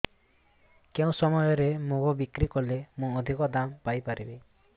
କେଉଁ ସମୟରେ ମୁଗ ବିକ୍ରି କଲେ ମୁଁ ଅଧିକ ଦାମ୍ ପାଇ ପାରିବି